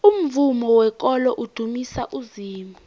umvumo wekolo udumisa uzimu